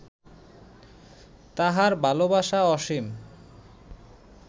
তাঁহার ভালবাসা অসীম